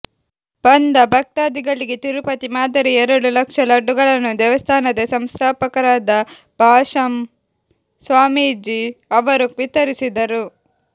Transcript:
ಬಂದ ಭಕ್ತಾಧಿಗಳಿಗೆ ತಿರುಪತಿ ಮಾದರಿಯ ಎರಡು ಲಕ್ಷ ಲಡ್ಡುಗಳನ್ನು ದೇವಸ್ಥಾನದ ಸಂಸ್ಥಾಪಕರಾದ ಭಾಷ್ಯಂ ಸ್ವಾಮೀಜಿ ಅವರು ವಿತರಿಸಿದರು